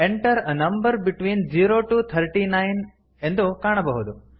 enter a number between zero to thirty nine ಎಂದು ಕಾಣಬಹುದು